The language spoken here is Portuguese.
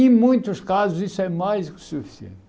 Em muitos casos isso é mais do que suficiente.